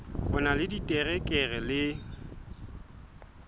o na le diterekere le